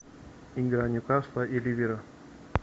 игра ньюкасла и ливера